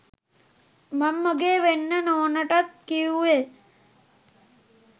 මං මගේ වෙන්න නෝනටත් කිව්වේ